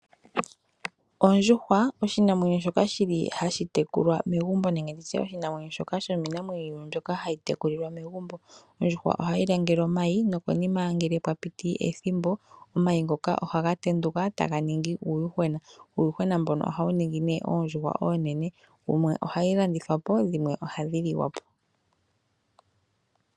Ondjuhwa, oshinamwenyo shoka hashi tekulwa megumbo nenge oshinamwenyo shoka shimwe shomiinamwenyo mbyoka hayi tekulwa megumbo. Ondjuhwa ohayi langele omayi nokonima ngele pwa piti ethimbo omayi ngoka ohaga tenduka taga ningi uuyuhwena. Uuyuhwena mboka ohawu ningi oondjuhwa oonene. Dhimwe ohadhi landithwa po dho dhimwe ohadhi liwa po.